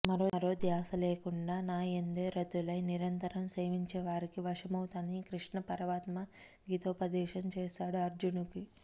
మరో ధ్యాస లేకుండా నాయందే రతులై నిరతం సేవించేవారికి వశమవుతానని కృష్ణపరమాత్మ గీతోపదేశం చేశాడు అర్జునుడికి